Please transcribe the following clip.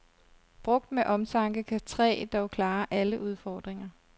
Brugt med omtanke kan træ dog klare alle udfordringer.